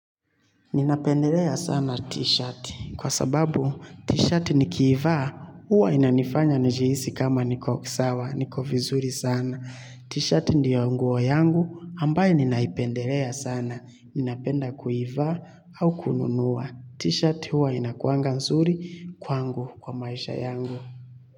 Ninapendelea sana t-shirt. Kwa sababu t-shirt nikiivaa, uwa inanifanya njihisi kama niko sawa, niko vizuri sana. Tshit ndo nguo yangu ninayoipendelea sana. Ninapenda kuivaa au kununua. T-shirt uwa inakuanga nsuri kwangu kwa maisha yangu.